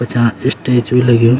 पछां इस्टेज भी लग्युं।